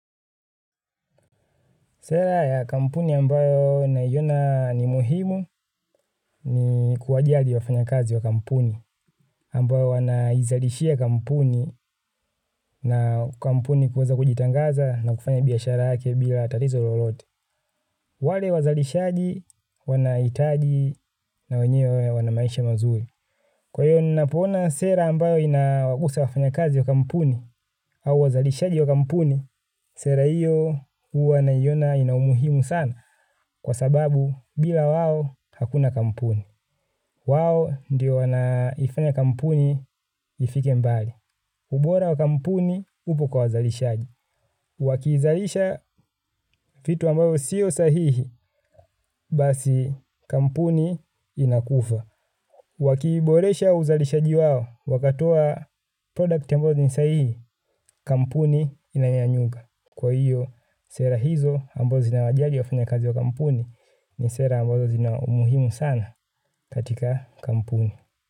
Sera ya kampuni ambayo naiona ni muhimu ni kuwa jali wafanyakazi wa kampuni, ambayo wanaizalishia kampuni na kampuni kuweza kujitangaza na kufanya biashara yake bila tatatizo lolote. Wale wazalishaji wanahitaji na wenyewe wana maisha mazuri. Kwa hiyo ninapoona sera ambayo inawagusa wafanya kazi wa kampuni au wazalishaji wa kampuni, sera hiyo uwa naiona inaumuhimu sana. Kwa sababu bila wao hakuna kampuni. Wawo ndiyo wanaifanya kampuni ifike mbali. Ubora wa kampuni upo kwa wazalishaji. Wakiizalisha vitu ambavyo sio sahihi basi kampuni inakufa. Wakiiboresha uzalishaji wao wakatoa product ambazo ni sahihi kampuni inanyanyuka. Kwa hiyo sera hizo ambazo zina wajali wafanya kazi wa kampuni ni sera ambazo zina umuhimu sana. Katika kampuni.